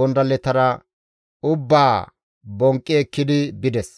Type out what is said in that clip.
gondalletara ubbaa bonqqi ekkidi bides.